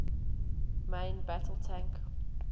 main battle tank